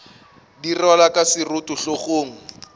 di rwalwa ka seroto hlogong